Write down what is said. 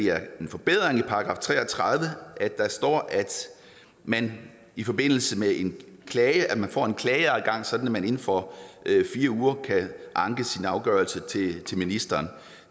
er en forbedring i § tre og tredive at der står at man i forbindelse med en klage får en klageadgang sådan at man inden for fire uger kan anke afgørelsen til ministeren